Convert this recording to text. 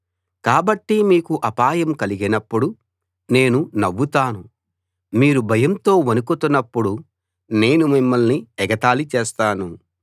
కాబట్టి మీకు అపాయం కలిగినప్పుడు నేను నవ్వుతాను మీరు భయంతో వణుకుతున్నప్పుడు నేను మిమ్మల్ని ఎగతాళి చేస్తాను